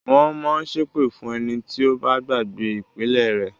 Wọ́n mọ ń ṣépè fún ẹni tí ó bá gbàgbé “ìpìlẹ̀” rẹ̀.